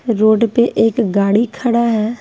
Road पे एक गाड़ी खड़ा है।